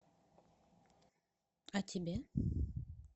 а тебе